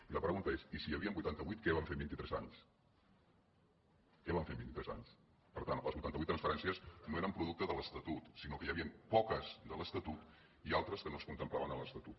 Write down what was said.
i la pregunta és i si n’hi havien vuitanta vuit què van fer en vint i tres anys què van fer en vint i tres anys per tant les vuitanta vuit transferències no eren producte de l’estatut sinó que n’hi havien poques de l’estatut i altres que no es contemplaven a l’estatut